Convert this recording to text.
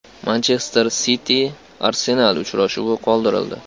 “Manchester Siti”“Arsenal” uchrashuvi qoldirildi.